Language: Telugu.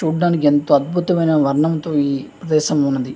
చూడ్డానికి యెంత అద్భుతమైన వర్ణంతో ఈ దేశం ఉన్నది.